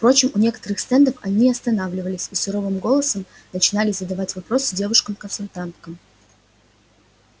впрочем у некоторых стендов он останавливался и суровым голосом начинали задавать вопросы девушкам-консультанткам